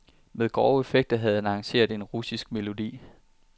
Med grove effekter havde han arrangeret en russisk melodi.